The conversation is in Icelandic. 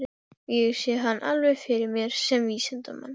Ég sé hann alveg fyrir mér sem vísindamann.